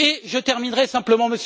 Je terminerai simplement.